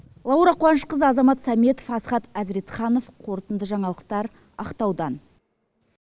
лаура қуанышқызы азамат сәметов асхат азретханов қорытынды жаңалықтар ақтаудан